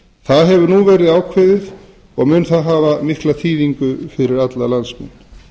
það hefur nú verið ákveðið og mun hafa mikla þýðingu fyrir alla landsmenn